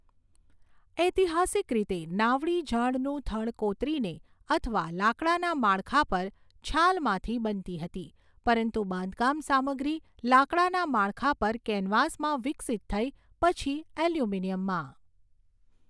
ઐતિહાસિક રીતે, નાવડી ઝાડનું થડ કોતરીને અથવા લાકડાના માળખા પર છાલમાંથી બનતી હતી, પરંતુ બાંધકામ સામગ્રી લાકડાના માળખા પર કેનવાસમાં વિકસિત થઈ, પછી એલ્યુમિનિયમમાં.